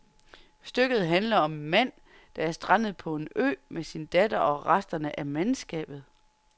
Stykket handler om en mand, der er strandet på en ø med sin datter og resterne af mandskabet.